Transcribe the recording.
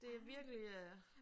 Det virkelig øh